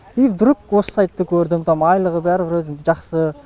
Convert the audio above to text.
и вдруг осы сайтты көрдім там айлығы бәрі вроде жақсы